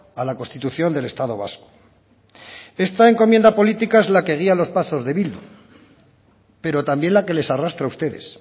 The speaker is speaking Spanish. a la constitución del estado vasco esta encomienda política es la que guía los pasos de bildu pero también la que les arrastra a ustedes